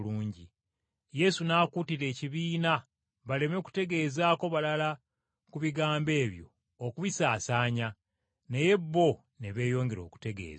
Yesu n’akuutira ekibiina baleme kutegeezaako balala ku bigambo ebyo okubisaasaanya, naye bo ne beeyongera okutegeeza.